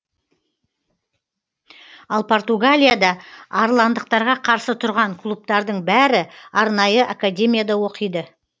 ал португалияда арландықтарға қарсы тұрған клубтардың бәрі арнайы академияда оқиды